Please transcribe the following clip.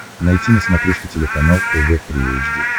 найти на смотрешке телеканал тв три эйч ди